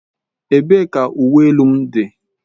Ebee ka uwe elu m dị?